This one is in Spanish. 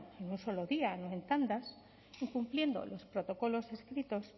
en un solo día no en tandas y cumpliendo los protocolos escritos